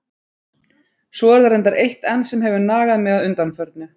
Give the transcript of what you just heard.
Svo er það reyndar eitt enn sem hefur nagað mig að undanförnu.